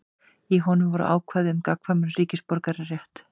Í honum voru ákvæði um gagnkvæman ríkisborgararétt.